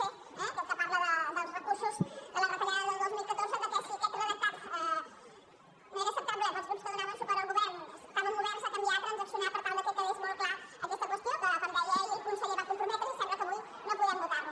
c eh aquell que parla dels recur·sos de la retallada del dos mil catorze que si aquest redactat no era acceptable per als grups que donaven suport al govern estàvem oberts a canviar a transaccionar per tal que quedés molt clara aquesta qüestió que com deia ahir el conseller s’hi va comprometre i sembla que avui no podrem votar·ho